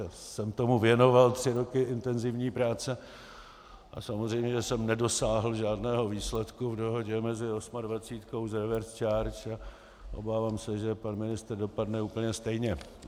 Já jsem tomu věnoval tři roky intenzivní práce a samozřejmě jsem nedosáhl žádného výsledku v dohodě mezi osmadvacítkou s reverse charge a obávám se, že pan ministr dopadne úplně stejně.